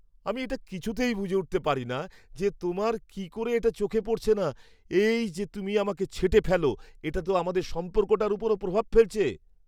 আমি এটা কিছুতেই বুঝে উঠতে পারিনা যে তোমার কী করে এটা চোখে পড়ছে না; এই যে তুমি আমাকে ছেঁটে ফেলো, এটা তো আমাদের সম্পর্কটার ওপর প্রভাব ফেলছে।